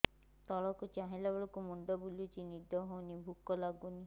ତଳକୁ ଚାହିଁଲା ବେଳକୁ ମୁଣ୍ଡ ବୁଲୁଚି ନିଦ ହଉନି ଭୁକ ଲାଗୁନି